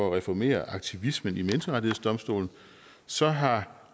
at reformere aktivismen i menneskerettighedsdomstolen så har